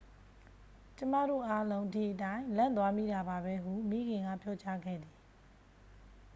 """ကျွန်မတို့အားလုံး ဒီအတိုင်း လန့်သွားမိတာပါပဲ၊""ဟု မိခင်က ပြောကြားခဲ့သည်။